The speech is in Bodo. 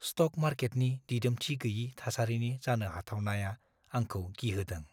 स्टक मार्केटनि दिदोमथि-गोयि थासारिनि जानो हाथावनाया आंखौ गिहोदों।